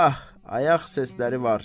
Ah, ayaq səsləri var!